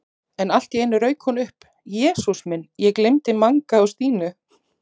En allt í einu rauk hún upp: Jesús minn, ég gleymdi Manga og Stínu